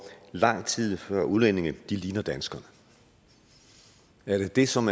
lang tid før udlændinge ligner danskerne er det som